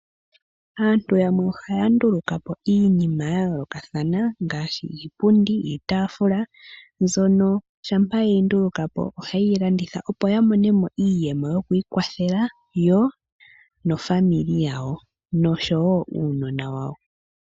Aantu yamwe ohaya ndulukapo iinima yayoolokathana ngaashi iipundi, iitaafula mbyono ngele yeyi ndulukapo ohayeyi landithapo opo yamone iiyemo yokwiikwathela maakwanezimo yawo.